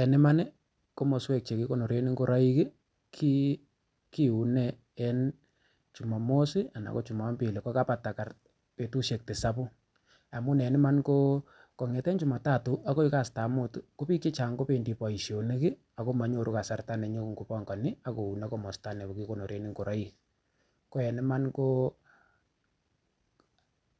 En Iman komoswek Che ki konoren ngoroik kiune en jumamos anan ko jumampili kokabata betusiek tisapu amun en Iman kongeten jumatatu agoi kastab muut ko bik Che Chang kobendi boisionik ago manyoru kasarta nenyon kobangani ak kounee komasato kikonoren ngoroik ko en Iman ko